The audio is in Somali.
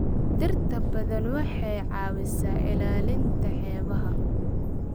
Dhirta badda waxay caawisaa ilaalinta xeebaha.